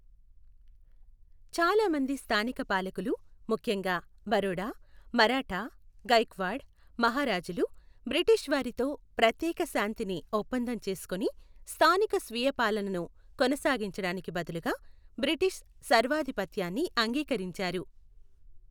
చాలా మంది స్థానిక పాలకులు, ముఖ్యంగా బరోడా మరాఠా గైక్వాడ్ మహారాజులు, బ్రిటిష్ వారితో ప్రత్యేక శాంతిని ఒప్పందం చేసుకుని, స్థానిక స్వీయ పాలనను కొనసాగించడానికి బదులుగా బ్రిటిష్ సర్వాధిపత్యాన్ని అంగీకరించారు.